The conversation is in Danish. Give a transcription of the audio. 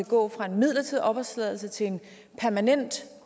gå fra en midlertidig opholdstilladelse til en permanent